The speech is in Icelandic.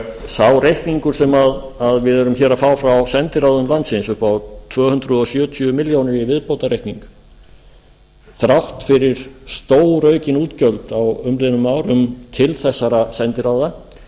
sá reikningur sem við erum að fá frá sendiráðum landsins upp á tvö hundruð sjötíu milljónum í viðbótarreikning þrátt fyrir stóraukin útgjöld á umliðnum árum til þessara sendiráða